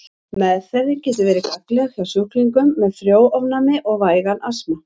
Meðferðin getur verið gagnleg hjá sjúklingum með frjónæmi og vægan astma.